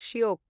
Shyok